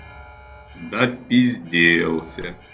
допизделся